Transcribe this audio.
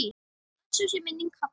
Blessuð sé minning Halla.